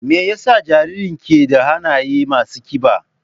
Me yasa jaririn ke da hannaye masu kiba?